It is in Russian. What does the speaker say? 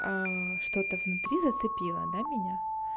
что-то внутри зацепило да меня